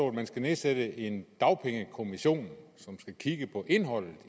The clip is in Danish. at man skal nedsætte en dagpengekommission som skal kigge på indholdet